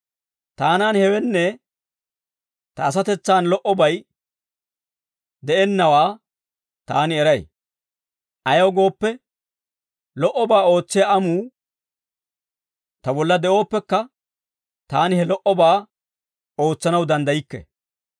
Taanan, hewenne ta asatetsaan lo"obay de'ennawaa taani eray; ayaw gooppe, lo"obaa ootsiyaa amuu ta bolla de'ooppekka, taani he lo"obaa ootsanaw danddaykke.